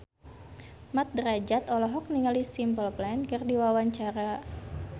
Mat Drajat olohok ningali Simple Plan keur diwawancara